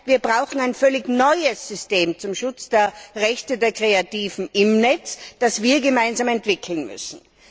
Wir brauchen ein völlig neues System zum Schutz der Rechte der Kreativen im Netz, das wir gemeinsam entwickeln müssen.